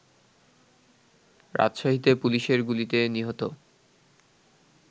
রাজশাহীতে পুলিশের গুলিতে নিহত